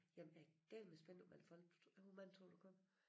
Jamen jeg er dælme spændt på hvor mange folk hvor mange tror du kommer?